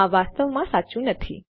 આ વાસ્તવમાં સાચું નથી